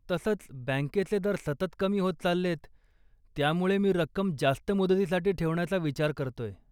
तसंही, बँकेचे दर सतत कमी होत चाललेत, त्यामुळे मी रक्कम जास्त मुदतीसाठी ठेवण्याचा विचार करतेय.